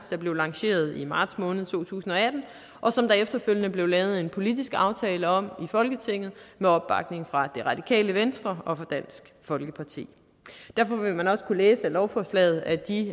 der blev lanceret i marts måned to tusind og atten og som der efterfølgende blev lavet en politisk aftale om i folketinget med opbakning fra det radikale venstre og fra dansk folkeparti derfor vil man også kunne læse af lovforslaget at de